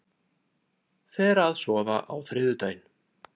Fer að sofa á þriðjudaginn